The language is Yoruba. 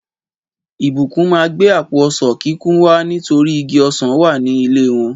Ìbùkún má gbé àpò ọsán kikun wá nítorí igi ọsán wa ní ilé wọn